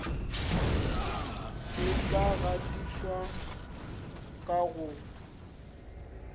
e ka gatišwago ka go